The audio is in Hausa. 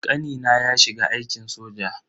Kanina ya shiga aikin soja.